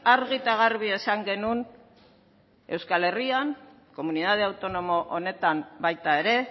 argi eta garbi esan genuen euskal herrian komunitate autonomo honetan baita ere